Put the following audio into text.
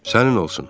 sənin olsun.